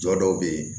Jɔ dɔw bɛ yen